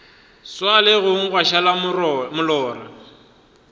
swa legong gwa šala molora